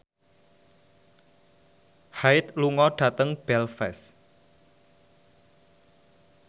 Hyde lunga dhateng Belfast